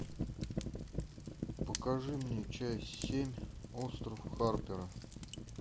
покажи мне часть семь остров харпера